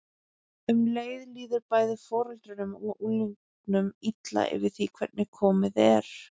Um leið líður bæði foreldrunum og unglingunum illa yfir því hvernig komið er.